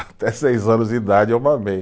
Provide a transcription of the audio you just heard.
Até seis anos de idade eu mamei.